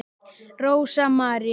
Rósa María.